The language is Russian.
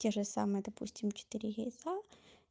те же самые допустим четыре яйца